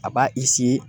A b'a